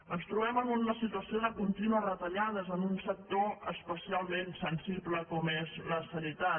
ens trobem en una situació de contínues retallades en un sector especialment sensible com és la sanitat